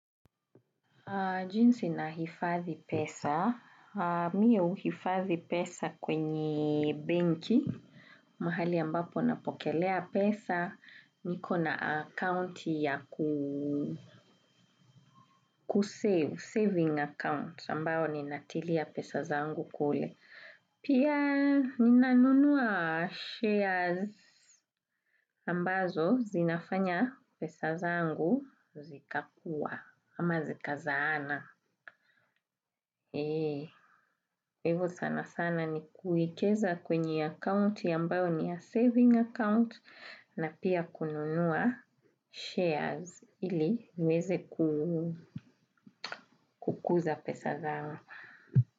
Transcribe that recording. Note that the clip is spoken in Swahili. Jinsi na hifadhi pesa. Mimi huhifadhi pesa kwenye benki. Mahali ambapo napokelea pesa. Niko na account ya kusave, saving account. Ambayo ni natilia pesa zangu kule. Pia ninanunua shares ambazo zinafanya pesa zangu zikakua ama zikazaana. Hivo sana sana ni kuekeza kwenye akaunti ambayo ni ya saving account na pia kununua shares ili niweze kukuza pesa zangu.